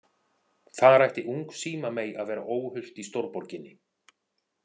Þar ætti ung símamey að vera óhult í stórborginni.